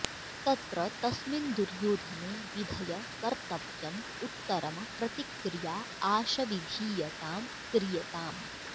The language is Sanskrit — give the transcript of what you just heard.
तत्र तस्मिन् दुर्योधने विधय कर्तव्यम् उत्तरम प्रतिक्रिया आश विधीयतां क्रियताम्